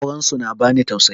Auren su na bani tausayi